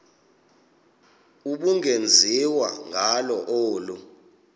ubungenziwa ngalo olu